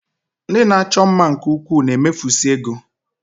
Ndị na-achọ mma nke ukwuu na-emefusị ego